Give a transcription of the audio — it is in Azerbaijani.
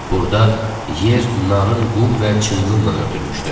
Burda yer narın qum və çınqılla örtülmüşdü.